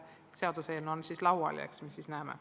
See seaduseelnõu on laual ja eks me siis näeme.